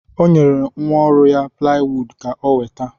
O nyere nwa ọrụ ya plaiwuud ka o weta.